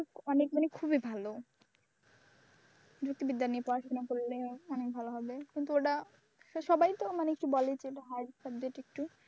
অনেক মানে খুবই ভালো যুক্তিবিদ্যা নিয়ে পড়াশোনা করলে অনেক ভালো হবে। কিন্তু ওটা সবাই তো মানে কি বলে যে ভারী subject একটু,